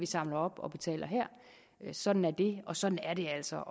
samler op og betaler sådan er det og sådan er det altså